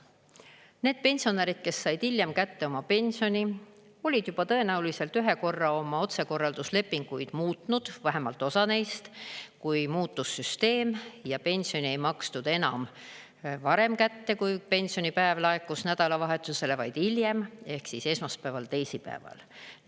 Need pensionärid, kes said hiljem kätte oma pensioni, olid juba tõenäoliselt ühe korra oma otsekorralduslepinguid muutnud, vähemalt osa neist, kui muutus süsteem ja pensioni ei makstud enam varem kätte, kui pensionipäev laekus nädalavahetusele, vaid hiljem ehk siis esmaspäeval, teisipäeval.